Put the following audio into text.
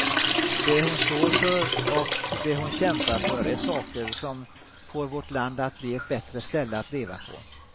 Det hon står för och det hon kämpar för är saker som får vårt land att bli ett bättre ställe att leva på.